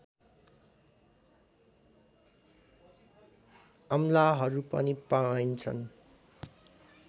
अमलाहरू पनि पाइन्छन्